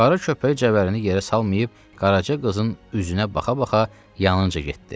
Qara köpüyü cəvərənini yerə salmayıb, Qaraca qızın üzünə baxa-baxa yanınca getdi.